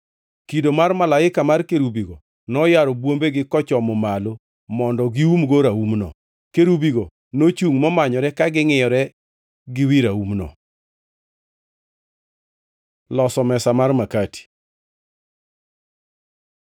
Kido mar malaika mar kerubigo noyaro bwombegi kochomo malo mondo giumgo raumno. Kerubigo nochungʼ momanyore ka ngʼiyore gi wi raumno. Loso mesa mar makati